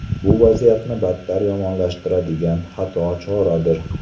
Bu vaziyatni battar yomonlashtiradigan xato choradir.